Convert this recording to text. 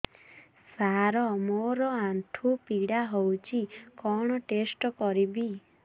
ସାର ମୋର ଆଣ୍ଠୁ ପୀଡା ହଉଚି କଣ ଟେଷ୍ଟ କରିବି